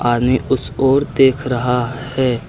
आदमी उस ओर देख रहा है।